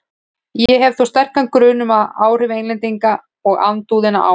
Ég hef þó sterkan grun um, að áhrif Englendinga og andúðina á